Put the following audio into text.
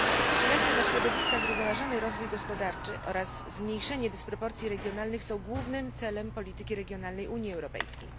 Przyjazny dla środowiska zrównoważony rozwój gospodarczy oraz zmniejszenie dysproporcji regionalnych są głównym celem polityki regionalnej Unii Europejskiej.